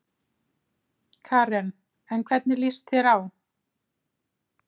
Karen: En hvernig lýst þér á?